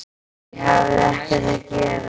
Ég hafði ekkert að gera.